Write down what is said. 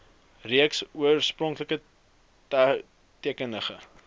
reeks oorspronklike tekeninge